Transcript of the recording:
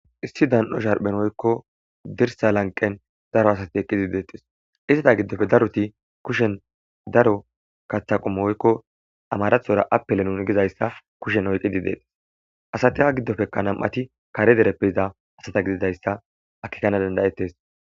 issi dan7o sharphen oykko dirsa lanqen daro asati eqqizi deetes izeta giddofe daroti kushen daro katha qomo woykko amarathora appile nuni gizayssa kushen oyqqidi deetes asati a giddofekka nam7ati kare dereppe yiza asata gididayssa akkikkana danda7etes.